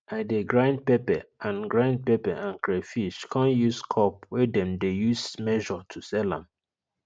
i dey grind pepper and grind pepper and crayfish come use cup wey dem dey use measure to sell am